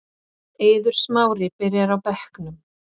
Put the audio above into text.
Eiður Smári byrjar á bekknum